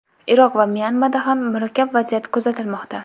Iroq va Myanmada ham murakkab vaziyat kuzatilmoqda.